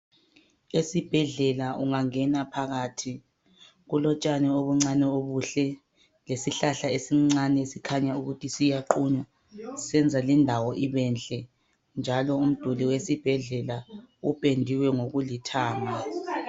Esibhedlela ungangena phakathi kulotshani obuncane obuhle lesihlahla esincane esikhanya ukuthi siyaqunywa. Senza lindawo ibenhle, njalo umduli wesibhedlela upendiwe ngokulithanga.